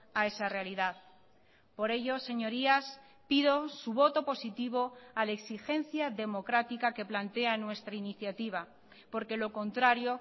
a esa realidad por ello señorías pido su voto positivo a la exigencia democrática que plantea nuestra iniciativa porque lo contrario